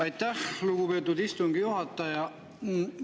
Aitäh, lugupeetud istungi juhataja!